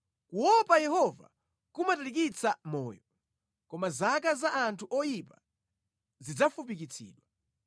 Kuopa Yehova kumatalikitsa moyo; koma zaka za anthu oyipa zidzafupikitsidwa.